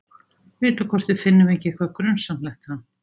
Vita hvort við finnum ekki eitthvað grunsamlegt, ha?